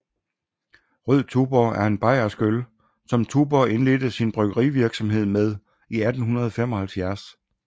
Rød Tuborg er en bayersk øl som Tuborg indledte sin bryggerivirksomhed med i 1875